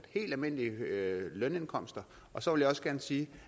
helt almindelige lønindkomster og så vil jeg også gerne sige